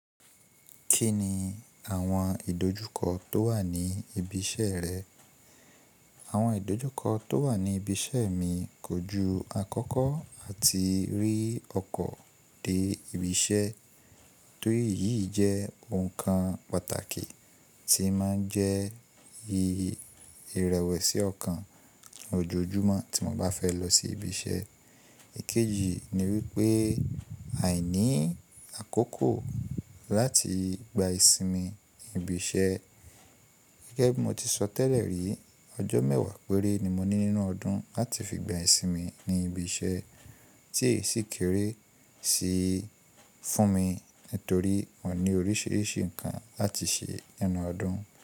Kí ni àwọn ìdojúkọ tó wà ní ibi iṣẹ́ rẹ? Àwọn ìdojúkọ tó wà ní ibi iṣẹ́ mi kójú àkọ́kọ́ àti rí ọkọ̀ dé ibi iṣẹ́ torí èyí jẹ́ ohun kan pàtàkì tí máa ń jẹ́ irẹwẹ̀si ọkàn ojoojúmọ́ tí mo bá fẹ́ lọ sí ibi iṣẹ́. Èkejì ni wípé àìní àkókò láti gba ìsinmi ní ibi iṣẹ́. Gẹ́gẹ́ bí mo ti sọ tẹ́lẹ̀ rí, ọjọ́ mẹ́wàá péré ni mo ní nínú ọdún láti fi gba ìsinmi ní ibi iṣẹ́ tí èsì kéré si fún mi nítorí mo ní oríṣiríṣi nǹkan láti ṣe nínú ọdún.